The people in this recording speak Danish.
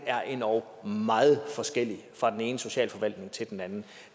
er endog meget forskellig fra den ene socialforvaltning til den anden og